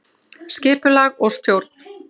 Skipulag og stjórn